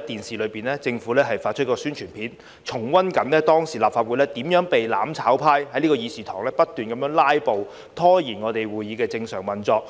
電視看到政府發出的宣傳片，重溫當時立法會怎樣被"攬炒派"在議事堂不斷"拉布"，拖延會議的正常運作。